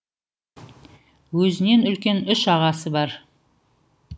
өзінен үлкен үш ағасы бар